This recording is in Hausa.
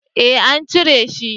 Eh an cire shi